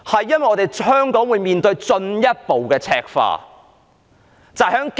因為香港會面對進一步的赤化。